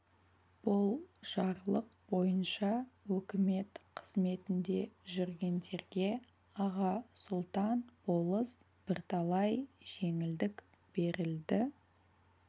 бұл жарлық бойынша өкімет қызметінде жүргендерге аға сұлтан болыс бірталай жеңілдік берілді